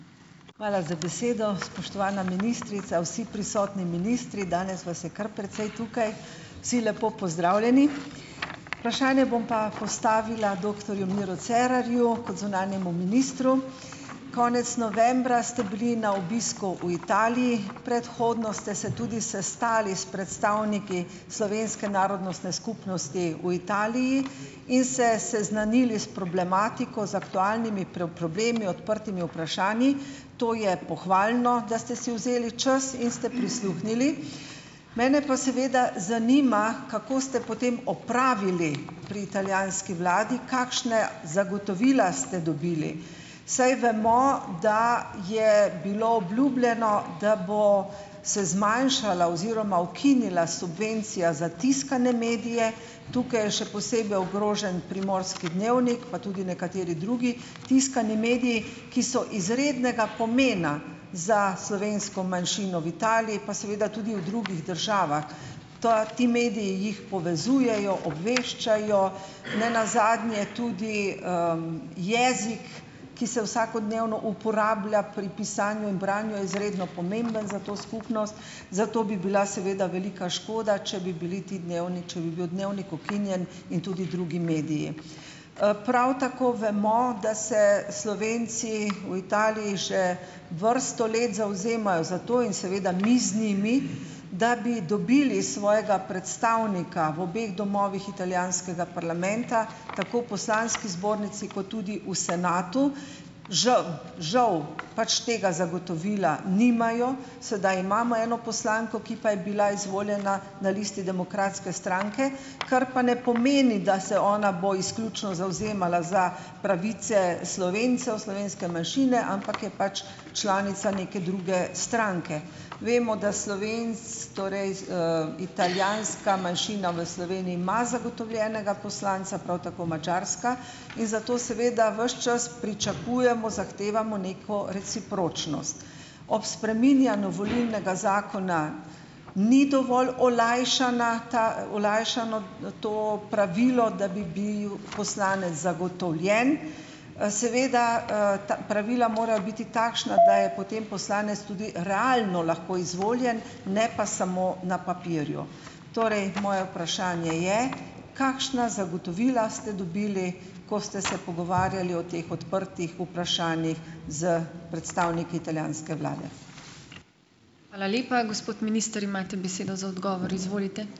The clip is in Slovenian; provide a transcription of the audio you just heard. Hvala za besedo. Spoštovana ministrica, vsi prisotni ministri, danes vas je kar precej tukaj, vsi lepo pozdravljeni. Vprašanje bom pa postavila doktorju Miru Cerarju kot zunanjemu ministru. Konec novembra ste bili na obisku v Italiji, predhodno ste se tudi sestali s predstavniki slovenske narodnostne skupnosti v Italiji in se seznanili s problematiko, z aktualnimi problemi, odprtimi vprašanji, to je pohvalno, da ste si vzeli čas in ste prisluhnili. Mene pa seveda zanima, kako ste potem opravili pri italijanski vladi, kakšna zagotovila ste dobili, saj vemo, da je bilo obljubljeno, da bo se zmanjšala oziroma ukinila subvencija za tiskane medije, tukaj je še posebej ogrožen Primorski dnevnik pa tudi nekateri drugi tiskani mediji, ki so izrednega pomena za slovensko manjšino v Italiji pa seveda tudi v drugih državah. Toa ti mediji jih povezujejo, obveščajo, nenazadnje tudi, jezik, ki se vsakodnevno uporablja pri pisanju in branju, je izredno pomemben za to skupnost, zato bi bila seveda velika škoda, če bi bili ti če bi bil dnevnik ukinjen in tudi drugi mediji. Prav tako vemo, da se Slovenci v Italiji že vrsto let zavzemajo za to in seveda mi z njimi, da bi dobili svojega predstavnika v obeh domovih italijanskega parlamenta, tako poslanski zbornici kot tudi v senatu. Žal - žal pač tega zagotovila nimajo. Sedaj imamo eno poslanko, ki pa je bila izvoljena na listi Demokratske stranke, kar pa ne pomeni, da se ona bo izključno zavzemala za pravice Slovencev, slovenske manjšine, ampak je pač članica neke druge stranke. Vemo, da torej, italijanska manjšina v Sloveniji ima zagotovljenega poslanca, prav tako madžarska, in zato seveda ves čas pričakujemo, zahtevamo neko recipročnost. Ob spreminjanju volilnega zakona ni dovolj olajšana ta - olajšano, to pravilo, da bi bil poslanec zagotovljen. Seveda, ta pravila morajo biti takšna, da je potem poslanec tudi realno lahko izvoljen, ne pa samo na papirju. Torej, moje vprašanje je - kakšna zagotovila ste dobili, ko ste se pogovarjali o teh odprtih vprašanjih s predstavniki italijanske vlade.